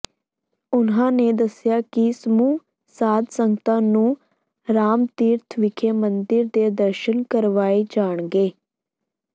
ਉਹਨਾਂ ਨੇ ਦੱਸਿਆ ਕਿ ਸਮੂਹ ਸਾਧ ਸੰਗਤਾਂ ਨੂੰ ਰਾਮਤੀਰਥ ਵਿਖੇ ਮੰਦਿਰ ਦੇ ਦਰਸ਼ਨ ਕਰਵਾਏ ਜਾਣਗੇ